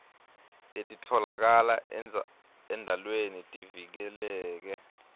letitfolakala endalweni tivikeleke